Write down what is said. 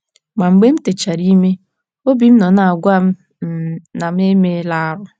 Ma, mgbe m techara ime, obi m nọ na - agwa m um na mụ emeela arụ. ”